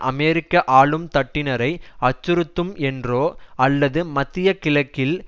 அமெரிக்க ஆளும்தட்டினரை அச்சுறுத்தும் என்றோ அல்லது மத்திய கிழக்கில்